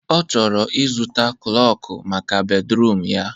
Ọ chọrọ ịzụta klọkụ maka bedruum ya